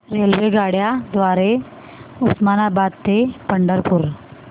रेल्वेगाड्यां द्वारे उस्मानाबाद ते पंढरपूर